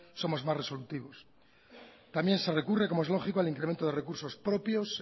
somos más resolutivos también se recurre como es lógico al incremento de recursos propios